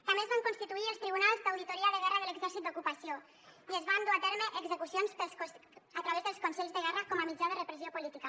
també es van constituir els tribunals d’auditoria de guerra de l’exèrcit d’ocupació i es van dur a terme execucions a través dels consells de guerra com a mitjà de repressió política